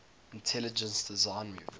intelligent design movement